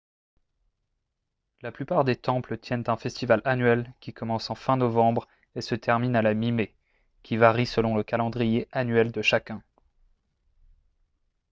la plupart des temples tiennent un festival annuel qui commence en fin novembre et se termine à la mi-mai qui varie selon le calendrier annuel de chacun